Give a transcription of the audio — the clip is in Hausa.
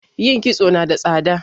yin kisto nada tsada